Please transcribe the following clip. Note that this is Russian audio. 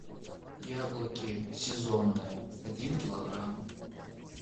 яблоки сезонные один килограмм